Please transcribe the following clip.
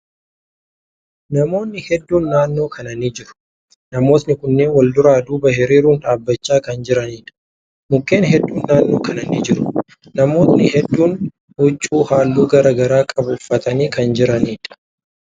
Namootni hedduun naannoo kana ni jiru. Namootni kunneen wal duraa duuba hiriirun dhaabbachaa kan jiraniidha. Mukkeen hedduun naannoo kana ni jiru. Namootni hedduun huccuu halluu garagaraa qabu uffatanii kan jiraniidha.